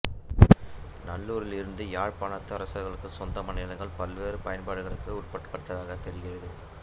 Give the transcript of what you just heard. நல்லூரிலிருந்த யாழ்ப்பாணத்து அரசர்களுக்குச் சொந்தமான நிலங்கள் பல்வேறு பயன்பாடுகளுக்கு உட்படுத்தப்பட்டதாகத் தெரிகிறது